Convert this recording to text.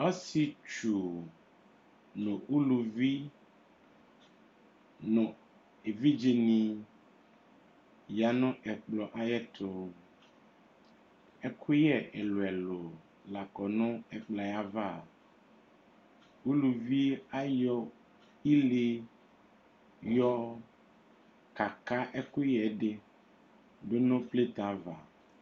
Ɔshetsu nu uluvi nu evidze nu ya nu ɛkplɔtu ɛkuyɛ ɛlu ɛlu lakɔ nu ɛkplɔ yava uluvi ayɔ ile yɔ kaka ɛkuyɛ di du nu plɛtɛ ava